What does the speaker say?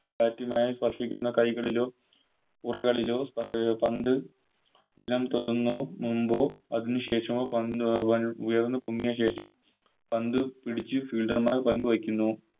Bat മായി സ്പർശിക്കുന്ന കൈകളിലോ ഉറകളിലോ പന്ത് നിലം തൊടുന്ന മൂമ്പോ അതിന് ശേഷമോ പന്ത് കൾ ഉയർന്ന പൊങ്ങിയ ശേഷം പന്ത് പിടിച്ച് Fielder മാർ പന്ത് വെക്കുന്നു